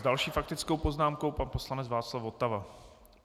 S další faktickou poznámkou pan poslanec Václav Votava.